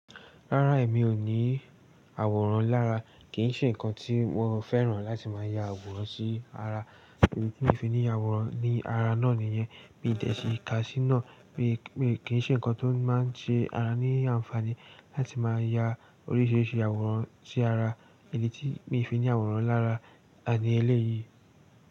Rárá, èmi ò ní àwòrán lára. Kì n ṣe ǹkan tí mo fẹ́ràn láti máa ya àwòrán sí ara. Ìdí tí mi ò fi ní àwòrán ní ara náà nìyẹn. Mi ò dẹ̀ sí ká sí náà. Kìí ṣe nǹkan tó máa ń ṣe ara ní ànfàní láti máa ya oríṣiríṣi àwòrán sí ara. Ìdí tí mìí fi ní àwòrán lára, àní eléyìí.